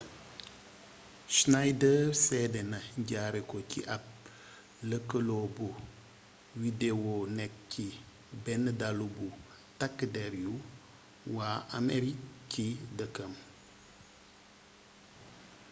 schneider seedena jaaree ko ci ab lëkkaloo bu widewoo nekk ci benn dallu bu tàkk der yu waa amerig ci dëkkam